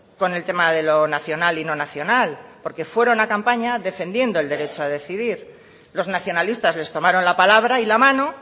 con el tema de lo nacional y no nacional porque fueron a campaña defendiendo el derecho a decidir los nacionalistas les tomaron la palabra y la mano